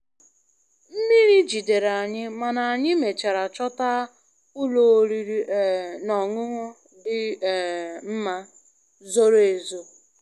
Mmiri jidere anyị, mana anyị mechara chọta ụlọ oriri um na ọṅụṅụ dị um mma, zoro ezo.